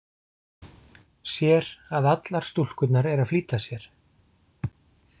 Sér að allar stúlkurnar eru að flýta sér.